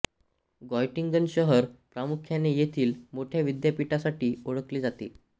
ग्यॉटिंगन शहर प्रामुख्याने येथील मोठ्या विद्यापीठासाठी ओळखले जाते